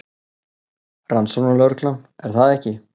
Rannsóknarlögreglan, er það ekki?